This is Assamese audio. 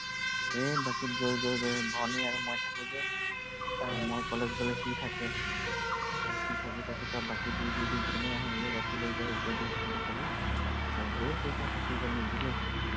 এই বাকীত গৈ গৈ গৈ ভনী আৰু মই থাকোঁ যে মই কলেজ গলে সি থাকে সি থাকি থাকি সব বাকী দি দি দি যোনেই আহে সিয়ে বাকী লৈ যায় এতিয়া দি আছোঁ বুলি কব ধেৰ পইচা ফচি গল নিদিলেই।